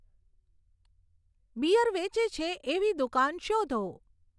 beer વેચે છે એવી દુકાન શોધો